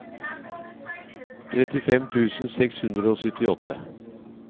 trettifem tusen seks hundre og syttiåtte